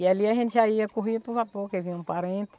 E ali a gente já ia correr para o vapor, que vinha um parente.